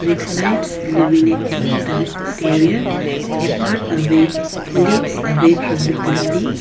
With lights illuminating the exterior a part away leads away from the building.